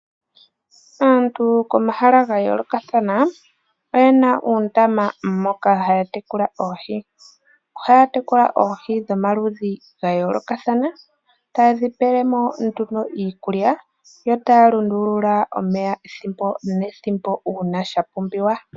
Aantu komahala ga yoolokathana oye na uundama moka haya tekula oohi. Ohaya tekula oohi dhomaludhi ga yoolokathana, taye dhi pele mo nduno iikulya yo taya lundulula omeya ethimbo nethimbo uuna sha pumbiwa.